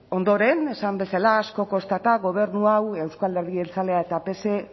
ondoren esan bezala asko kostata gobernu hau euzko alderdi jeltzalea eta pse